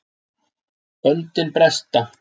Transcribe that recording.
Böndin bresta